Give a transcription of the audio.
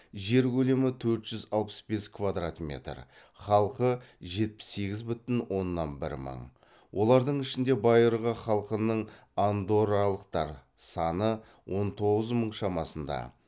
жер көлемі төрт жүз алпыс бес квадрат метр халқы жетпіс сегіз бүтін оннан бір мың олардың ішінде байырғы халқының саны он тоғыз мың шамасында